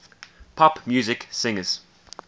pop music singers